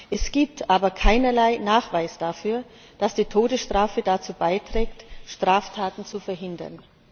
Es gibt aber keinerlei Nachweis dafür, dass die Todesstrafe dazu beiträgt, Straftaten zu verhindern.